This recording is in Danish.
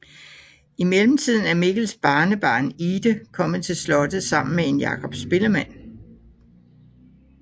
I mellemtiden er Mikkels barnebarn Ide kommet til slottet sammen med en Jakob spillemand